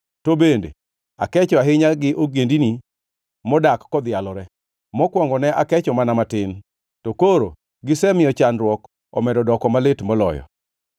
to bende akecho ahinya gi ogendini modak kodhialore. Mokwongo ne akecho mana matin, to koro gisemiyo chandruok omedo doko malit moloyo.’